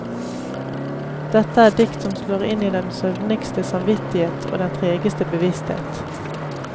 Dette er dikt som slår inn i den søvnigste samvittighet og den tregeste bevissthet.